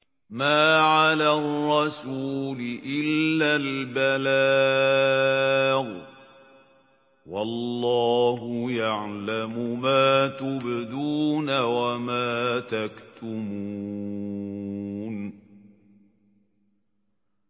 مَّا عَلَى الرَّسُولِ إِلَّا الْبَلَاغُ ۗ وَاللَّهُ يَعْلَمُ مَا تُبْدُونَ وَمَا تَكْتُمُونَ